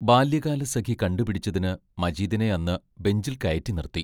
ബാല്യകാലസഖി കണ്ടുപിടിച്ചതിന് മജീദിനെ അന്ന് ബെഞ്ചിൽ കയറ്റി നിർത്തി.